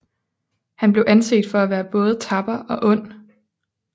Han blev anset for at være både tapper og ond